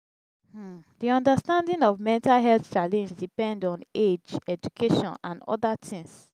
um di understanding of mental health challenge depend on age education and oda things